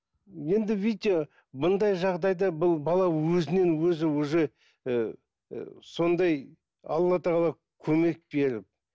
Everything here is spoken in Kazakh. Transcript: енді видите бұндай жағдайда бұл бала өзінен өзі уже ііі сондай алла тағала көмек беріп